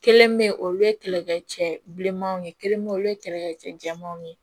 Kelen be yen olu ye kɛlɛ kɛ cɛ bilenmanw ye kelen bɛ olu ye kɛlɛkɛ cɛ jɛmanw ye